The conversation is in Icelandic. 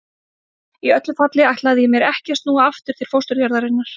Í öllu falli ætlaði ég mér ekki að snúa aftur til fósturjarðarinnar.